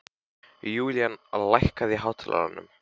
Julian, lækkaðu í hátalaranum.